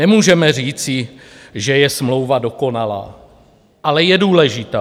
Nemůžeme říci, že je smlouva dokonalá, ale je důležitá.